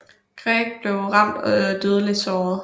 Gregg blev ramt og dødeligt såret